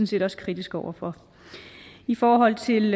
set også kritiske over for i forhold til